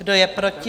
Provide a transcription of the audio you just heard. Kdo je proti?